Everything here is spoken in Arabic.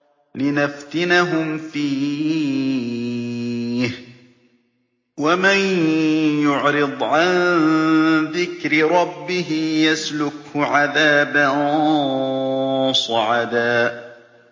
لِّنَفْتِنَهُمْ فِيهِ ۚ وَمَن يُعْرِضْ عَن ذِكْرِ رَبِّهِ يَسْلُكْهُ عَذَابًا صَعَدًا